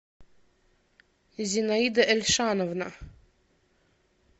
зинаида эльшановна